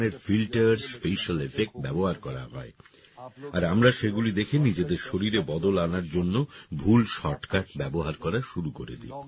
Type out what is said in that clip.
অনেক ধরনের filter special effect ব্যবহার করা হয় আর আমরা সেগুলি দেখে নিজেদের শরীরে বদল আনার জন্য ভুল শর্টকাট ব্যবহার করা শুরু করে দিই